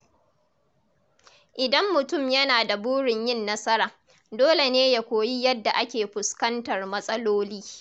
Idan mutum yana da burin yin nasara, dole ne ya koyi yadda ake fuskantar matsaloli.